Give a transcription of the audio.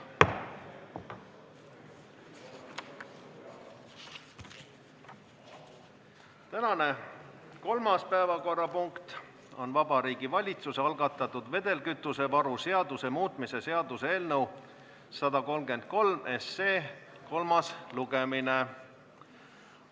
Tänane kolmas päevakorrapunkt on Vabariigi Valitsuse algatatud vedelkütusevaru seaduse muutmise seaduse eelnõu 133 kolmas lugemine.